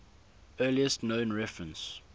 earliest known reference